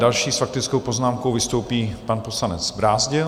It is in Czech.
Další s faktickou poznámkou vystoupí pan poslanec Brázdil.